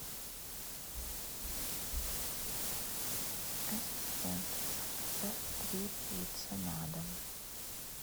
ассистент заказать три пиццы на дом